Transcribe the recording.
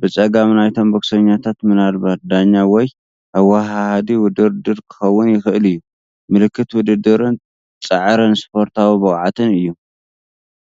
ብጸጋም ናይቶም ቦክሰኛታት ምናልባት ዳኛ ወይ ኣወሃሃዲ ውድድር ክኸውን ይኽእል እዩ። ምልክት ውድድርን ጻዕርን ስፖርታዊ ብቕዓትን እዩ።